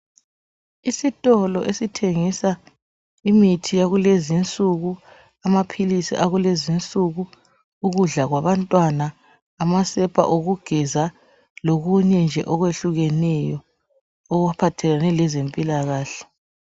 Isitolo esithengisa imithi yakulezi insuku amaphilisi akulezi insuku ukudla kwabantwana amasepa okugeza lokunye nje okwehlukeneyo okuphathelane lezempilakahle.